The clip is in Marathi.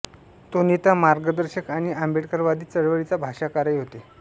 ते नेता मार्गदर्शक आणि आंबेडकरवादी चळवळीचा भाष्यकारही होते